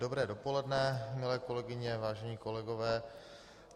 Dobré dopoledne, milé kolegyně, vážení kolegové.